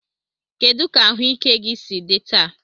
Kedu ka ahụike gị si dị taa?